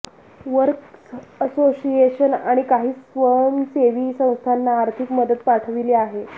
works association आणि काही स्वंसेवी संस्थांना आर्थिक मदत पाठविली आहे